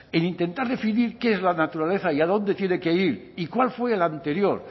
en intentar definir qué es la naturaleza y adónde tiene que ir y cuál fue el anterior